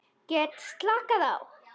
Get slakað á.